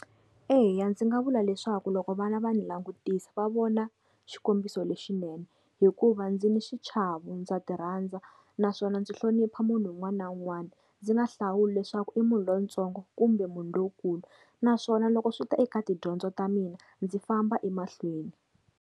Eya ndzi nga vula leswaku loko vana va ni langutisa va vona xikombiso lexinene, hikuva ndzi ni xichava ndza ti rhandza naswona ndzi hlonipha munhu un'wana na un'wana ndzi nga hlawuli leswaku i munhu lontsongo kumbe munhu lowukulu. Naswona loko swi ta eka tidyondzo ta mina ndzi famba emahlweni.